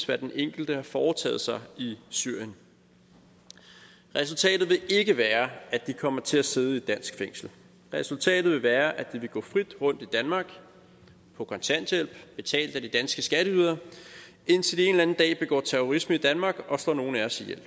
hvad den enkelte har foretaget sig i syrien resultatet vil ikke være at de kommer til at sidde i et dansk fængsel resultatet vil være at de vil gå frit rundt i danmark på kontanthjælp betalt af de danske skatteydere indtil de en eller anden dag begår terrorisme i danmark og slår nogle af os ihjel vi